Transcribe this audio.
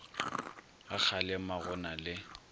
ga kgalema go na le